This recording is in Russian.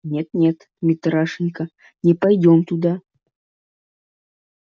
нет нет митрашенька не пойдём туда